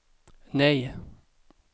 nej